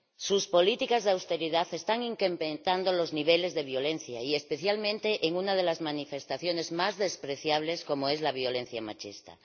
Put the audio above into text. Sus políticas de austeridad están incrementando los niveles de violencia, especialmente en una de las manifestaciones más despreciables, como es la violencia machista.